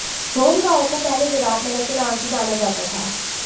ढोम गांव को पहले विराट नगर के नाम से जाना जाता था